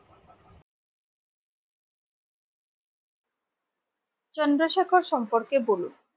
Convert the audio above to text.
চন্দ্রশেখর সম্পর্কে বলুন?